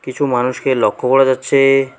কিছু মানুষকে লক্ষ করা যাচ্ছে।